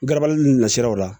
Garabali nunnu nasiraw la